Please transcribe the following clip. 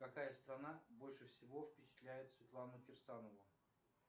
какая страна больше всего впечатляет светлану кирсанову